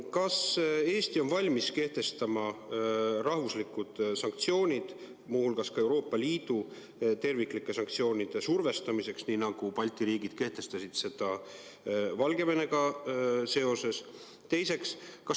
Kas Eesti on valmis kehtestama riiklikud sanktsioonid, muu hulgas ka Euroopa Liidu terviklike sanktsioonide survestamiseks, nii nagu Balti riigid kehtestasid Valgevenega seoses?